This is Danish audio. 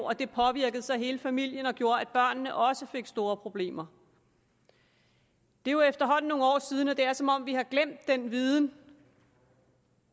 og det påvirkede så hele familien og gjorde at børnene også fik store problemer det er efterhånden nogle år siden og det er som om vi har glemt den viden